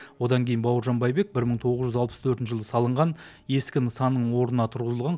одан кейін бауыржан байбек бір мың тоғыз жүз алпыс төртінші жылы салынған ескі нысанның орнына тұрғызылған